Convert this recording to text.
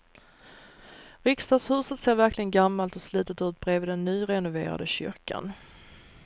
Riksdagshuset ser verkligen gammalt och slitet ut bredvid den nyrenoverade kyrkan.